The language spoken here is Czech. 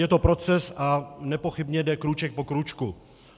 Je to proces a nepochybně jde krůček po krůčku.